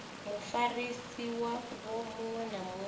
mufarisi wavho muṅwe na muṅwe